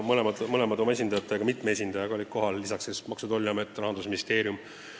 Mõlemad olid mitme esindajaga kohal, lisaks Maksu- ja Tolliamet ning Rahandusministeerium.